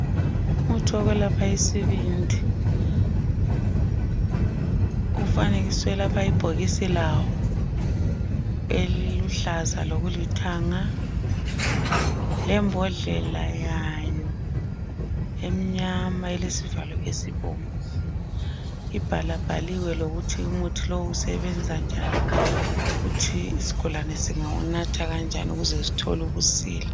Umuthi wokwelapha isibindi kufanekiswe lapha ibhokisi lawo eliluhlaza lokulithanga lembodlela yayo emnyama elesivalo esibomvu. Ibhala bhaliwe ukuthi umuthi lo usebenza njani ukuthi isigulane singawunatha kanjani ukuze sithole ukusila.